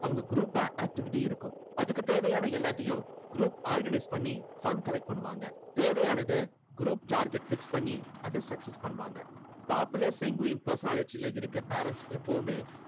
அவங்க group ஆ activity இருக்கும். அதுக்கு தேவையான எல்லாத்தையும் group organize பண்ணி fund collect பண்ணுவாங்க. தேவையானதை group target fix பண்ணி அதை success பண்ணுவாங்க. popular sanguine personality ல இருக்க parents எப்பவுமே